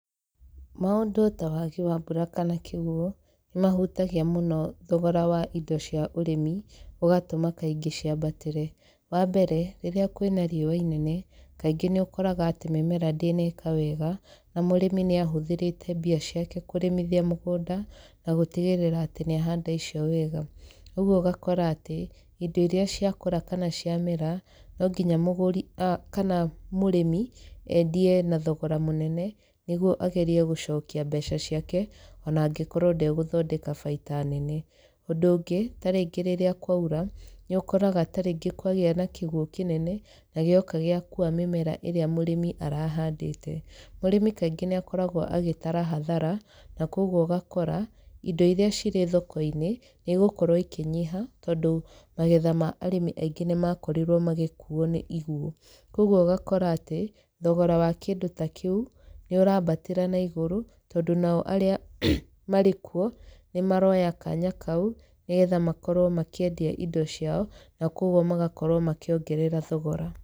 Maũndũ ta wagi wa mbura kana kĩguũ, nĩ mahutagia mũno thogora wa indo cia ũrĩmi, ũgatũma kaingĩ ciambatĩre. Wa mbere, rĩrĩa kwĩna riũa inene, kaingĩ nĩ ũkoraga atĩ mĩmera ndĩneka wega, na mũrĩmi nĩ ahũthĩrĩte mbia ciake kũrĩmithia mũgũnda, na gũtigĩrĩra atĩ nĩ ahanda icio wega. Ũguo ũgakora atĩ, indo irĩa ciakũra kana ciamera, no nginya mũgũri kana mũrĩmi, endie na thogora mũnene, nĩguo agerie gũcokia mbeca ciake, ona angĩkorwo ndegũthondeka baita nene. Ũndũ ũngĩ, tarĩngĩ rĩrĩa kwaura, nĩ ũkoraga tarĩngĩ kwagĩa na kĩguũ kĩnene, na gĩoka gĩakuua mĩmera ĩrĩa mũrĩmi arahandĩte. Mũrĩmi kaingĩ nĩ akoragwo agĩtara hathara, na kũguo ũgakora, indo irĩa cirĩ thoko-inĩ, nĩ igũkorwo ikĩnyiha, tondũ magetha ma arĩmi aingĩ nĩ makorirwo magĩkuuo nĩ iguũ. Kũguo ũgakora atĩ, thogora wa kĩndũ ta kĩu, nĩ ũrambatĩra na igũrũ, tondũ nao arĩa marĩ kuo, nĩ maroya kanya kau nĩgetha makorwo makĩendia indo ciao, na kũguo magakorwo makĩongerera thogora.